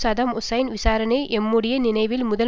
ஹுசைன் விசாரணை எம்முடைய நினைவில் முதன்முறையாக